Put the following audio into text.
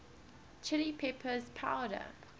chili peppers powder